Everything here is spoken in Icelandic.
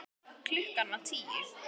Klukkan var tíu.